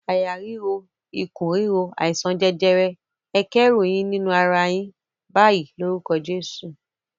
"Àyà ríro, ikùn ríro, àìsàn jẹjẹrẹ, ẹ kẹ́rù yín nínú ara yìí báyìí lórúkọ Jésù!"